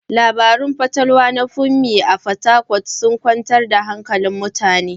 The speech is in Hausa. Labarun fatalwa na Funmi a Fatakwal sun kwantar da hankulan mutane.